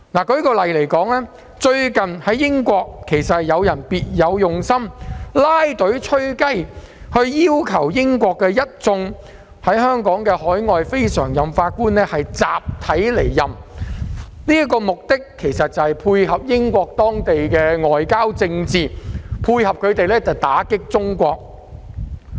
舉例而言，最近英國有一些別有用心的人"拉隊吹雞"，要求當地一眾香港海外非常任法官集體離任，其目的正是要配合英國的外交政策打擊中國。